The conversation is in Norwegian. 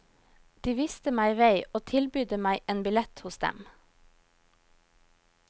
De visste meg vei og tilbydde meg en billett hos dem.